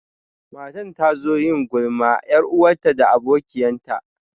Matan ta zo yin gulman yar'uwanta da abokiyan ta.